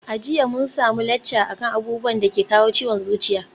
A jiya mun samu lacca akan abubuwan dake kawo ciwon zuciya